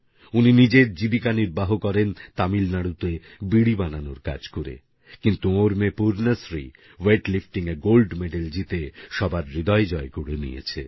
উনি নিজের জীবিকা নির্বাহ করেন তামিলনাড়ুতে বিড়ি বানানোর কাজ করে কিন্ত ওঁর মেয়ে পূর্ণাশ্রী weightliftingএ গোল্ড মেডেল জিতে সবার হৃদয় জয় করে নিয়েছে